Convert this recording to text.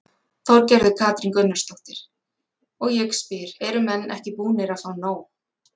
Þorgerður Katrín Gunnarsdóttir: Og ég spyr, eru menn ekki búnir að fá nóg?